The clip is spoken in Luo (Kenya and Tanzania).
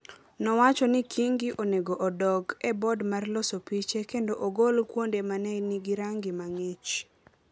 nowacho ni Kingi onego odok e board mar loso piche kendo ogol kuonde ma ne nigi rangi ma ng’ich.